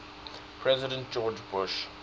president george bush